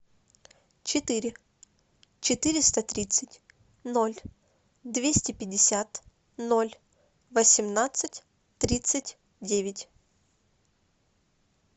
четыре четыреста тридцать ноль двести пятьдесят ноль восемнадцать тридцать девять